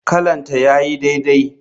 Kallonta yayi daidai.